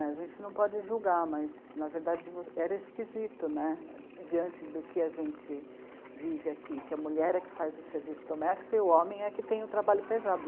A gente não pode julgar, mas, na verdade, era esquisito né, diante do que a gente vive aqui, que a mulher é que faz o serviço doméstico e o homem é que tem o trabalho pesado.